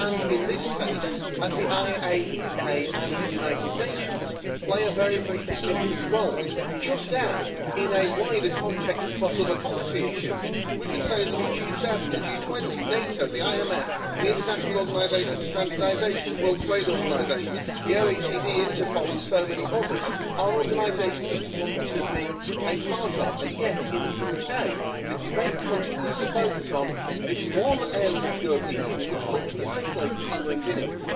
In this case, the IAEA and the United Nations play a very significant role just as, in a wider context across over policy issues, we could say that the G7, the G20, NATO, the IMF, the International Organization for Standardization, the World Trade Organization, the OECD, Interpol and so many others, are organisations that we want to be a part of and yet in the UK the debate continues to focus on this one area of the European Union, as we are told we would be isolated if we were not in it.